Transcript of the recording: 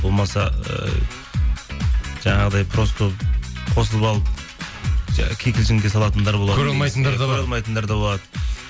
болмаса ыыы жаңағыдай просто қосылып алып кикілжінге салатындар болды көре алмайтындар көре алмайтындар болады